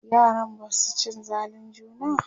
yaran Basu cin zalin juna?